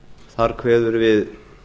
þar kveður við